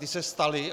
Ty se staly.